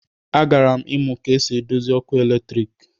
A gara'm imu ka esi edozi òkù eletrik.